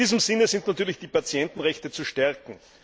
In diesem Sinn sind natürlich die Patientenrechte zu stärken.